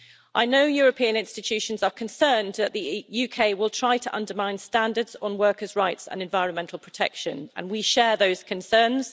I know that European institutions are concerned that the UK will try to undermine standards on workers' rights and environmental protection and we share those concerns.